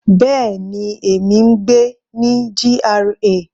Bẹ́ẹ̀ni, èmi ń gbé ní GRA.